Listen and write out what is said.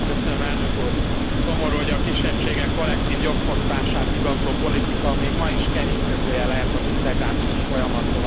Szomorú, hogy a kisebbségek kollektív jogfosztását igazoló politika még ma is kerékkötője lehet az integrációs folyamat továbblendülésének.